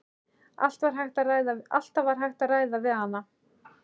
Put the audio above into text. Allt var hægt að ræða við hana.